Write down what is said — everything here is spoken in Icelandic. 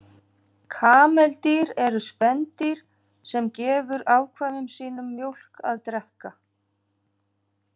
Kameldýr eru spendýr sem gefur afkvæmum sínum mjólk að drekka.